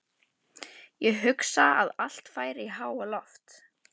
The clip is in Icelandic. Ég hugsa að allt færi í háaloft.